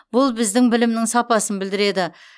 бұл біздің білімнің сапасын білдіреді